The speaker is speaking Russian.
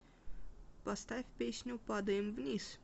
поставь песню падаем вниз